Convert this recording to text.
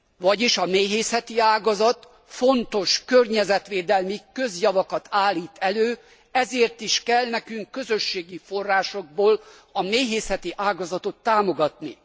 Vagyis a méhészeti ágazat fontos környezetvédelmi közjavakat állít elő, ezért is kell nekünk közösségi forrásokból a méhészeti ágazatot támogatni.